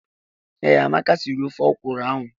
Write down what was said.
Ee, Amaka sịrị ofe ọkwụrụ ahụ.